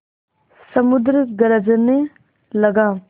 समुद्र गरजने लगा